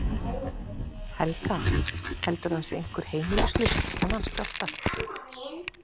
Helga: Heldurðu að það sé einhver heimilislaus eftir þennan skjálfta?